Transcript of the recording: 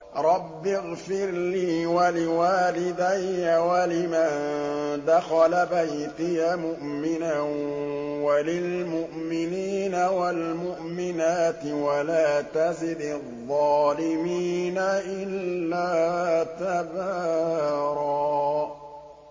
رَّبِّ اغْفِرْ لِي وَلِوَالِدَيَّ وَلِمَن دَخَلَ بَيْتِيَ مُؤْمِنًا وَلِلْمُؤْمِنِينَ وَالْمُؤْمِنَاتِ وَلَا تَزِدِ الظَّالِمِينَ إِلَّا تَبَارًا